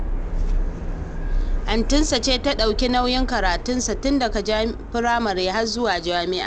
Antinsa ce ta ɗauki nauyin karatunsa, tun daga firamare har zuwa jami’a